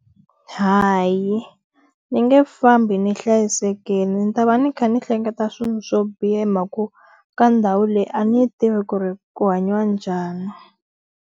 Hayi, ni nge fambi ni hlayisekile ni ta va ni kha ni hleketa swilo swo biha hi mhaka ku, ka ndhawu leyi a ni tivi ku ri ku hanyiwa njhani.